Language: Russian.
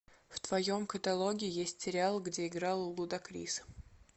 в твоем каталоге есть сериал где играл лудакрис